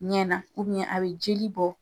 Ɲɛ na a be joli bɔ